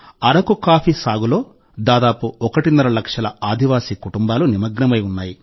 Araku coffee సాగులో దాదాపు ఒకటిన్నర లక్షల ఆదివాసీ కుటుంబాలు నిమగ్నమై ఉన్నాయి